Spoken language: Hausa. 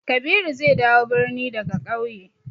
Kabiru zai dawo birni daga ƙauye.